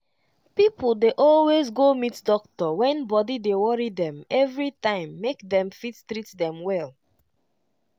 pipo dey always go meet doctor wen body dey worry dem everytime make dem fit treat them well.